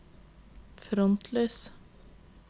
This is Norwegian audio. frontlys